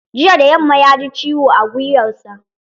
Jiya da yamma ya ji ciwo a gwiwarsa.